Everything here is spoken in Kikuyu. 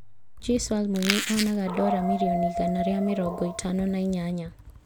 Juice WRLD mũini onaga Dora mirioni igana rĩa mĩrongo ĩtano na inyanya